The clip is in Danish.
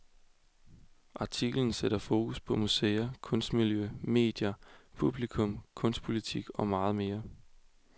Artiklen sætter fokus på museer, kunstmiljø, medier, publikum, kunstpolitik og meget mere.